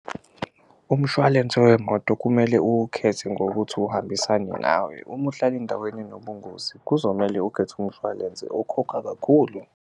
Umshwalense wemoto kumele uwukhethe ngokuthi uhambisane nawe, uma uhlala endaweni enobungozi kuzomele ukhethe umshwalense okhokha kakhulu.